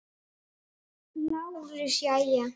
LÁRUS: Jæja!